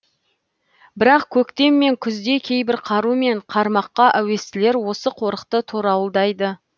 бірақ көктем мен күзде кейбір қару мен қармаққа әуестілер осы қорықты торауылдайды